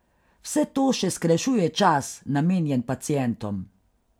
Vse to še skrajšuje čas, namenjen pacientom.